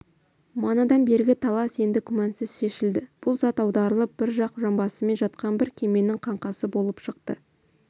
манадан бергі талас енді күмәнсіз шешілді бұл зат аударылып бір жақ жанбасымен жатқан бір кеменің қаңқасы болып шықты